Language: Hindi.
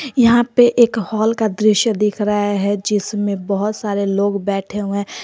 यहां पे एक हॉल का दृश्य दिख रहा है जिसमें बहुत सारे लोग बैठे हुए हैं।